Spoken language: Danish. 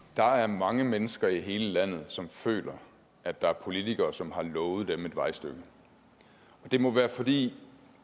der er mange mennesker i hele landet som føler at der er politikere som har lovet dem et vejstykke og det må være fordi